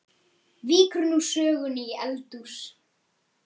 Víkur nú sögunni í eldhús.